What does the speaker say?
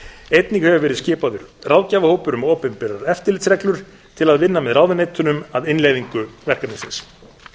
einnig hefur verið skipaður ráðgjafarhópur um opinberar eftirlitsreglur til að vinna með ráðuneytunum að innleiðingu verkefnisins